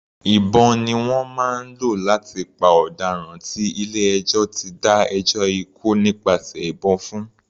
Ìbọn ni wọ́n máa ń lò láti pa ọ̀daràn tí ilé ẹjọ́ ti dá ẹjọ́ ikú nípasẹ̀ ìbọn fún.